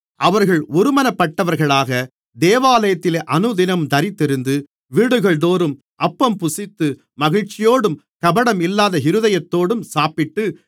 அவர்கள் ஒருமனப்பட்டவர்களாக தேவாலயத்திலே அனுதினமும் தரித்திருந்து வீடுகள்தோறும் அப்பம்புசித்து மகிழ்ச்சியோடும் கபடம் இல்லாத இருதயத்தோடும் சாப்பிட்டு